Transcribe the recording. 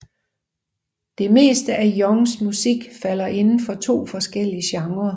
Det meste af Youngs musik falder inden for to forskellige genrer